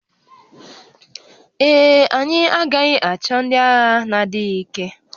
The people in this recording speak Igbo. Ee e, anyị agaghị achọ ndị agha na-adịghị ike